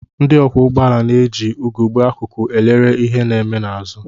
Ndị ọkwọụgbọala na-eji ugegbe akụkụ elere ihe na-eme ha n'azụ